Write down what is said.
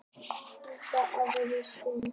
Belinda, ekki fórstu með þeim?